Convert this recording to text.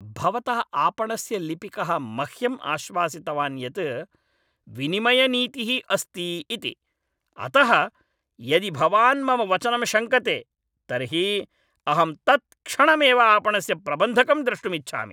भवतः आपणस्य लिपिकः मह्यं आश्वसितवान् यत् विनिमयनीतिः अस्ति इति, अतः यदि भवान् मम वचनं शङ्कते तर्हि अहं तत्क्षणमेव आपणस्य प्रबन्धकं द्रष्टुम् इच्छामि।